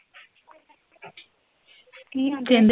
ਕਿ ਕਹਿੰਦੇ?